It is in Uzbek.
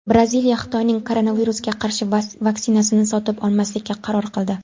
Braziliya Xitoyning koronavirusga qarshi vaksinasini sotib olmaslikka qaror qildi.